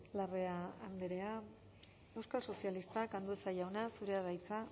larrea andrea euskal sozialistak andueza jauna zurea da hitza